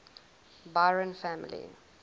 byron family